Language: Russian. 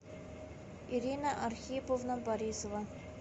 ирина архиповна борисова